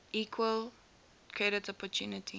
equal credit opportunity